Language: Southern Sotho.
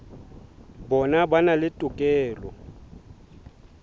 bona ba na le tokelo